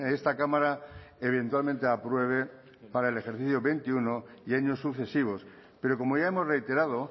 esta cámara eventualmente apruebe para el ejercicio veintiuno y años sucesivos pero como ya hemos reiterado